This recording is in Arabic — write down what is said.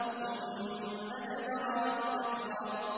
ثُمَّ أَدْبَرَ وَاسْتَكْبَرَ